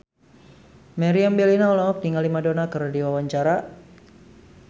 Meriam Bellina olohok ningali Madonna keur diwawancara